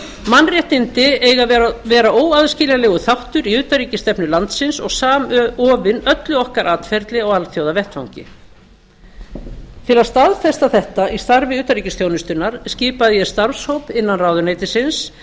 mannréttindi eiga að vera óaðskiljanlegur þáttur í utanríkisstefnu landsins og samofin öllu okkar atferli á alþjóðavettvangi til að staðfesta þetta í starfi utanríkisþjónustunnar skipaði ég starfshóp innan ráðuneytisins